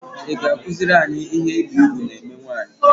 I ga -akuzuri anyị ihe ibi ùgwù na eme nwaanyị?